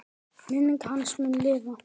Minning hans mun lifa.